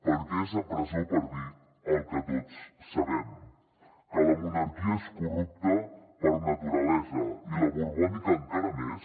perquè és a presó per dir el que tots sabem que la monarquia és corrupta per naturalesa i la borbònica encara més